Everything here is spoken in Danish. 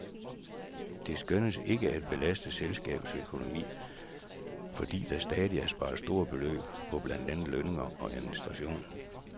Det skønnes ikke at belaste selskabets økonomi, fordi der samtidig er sparet store beløb på blandt andet lønninger og administration.